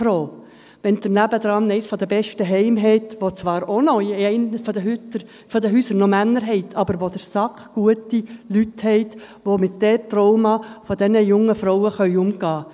– Dann sind Sie wirklich sehr froh, wenn Sie daneben eines der besten Heime haben, wo zwar auch noch in einem der Häuser Männer untergebracht sind, wo Sie aber ausgezeichnete Leute haben, die mit den Traumata dieser jungen Frauen umgehen können.